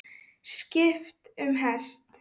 Skipt um hest.